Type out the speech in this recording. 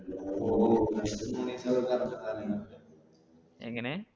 എങ്ങനെ